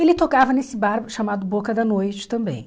Ele tocava nesse bar chamado Boca da Noite também.